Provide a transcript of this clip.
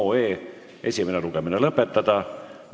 Määran eelnõu muudatusettepanekute esitamise tähtajaks 6. veebruari kell 17.15.